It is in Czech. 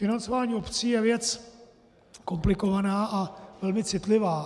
Financování obcí je věc komplikovaná a velmi citlivá.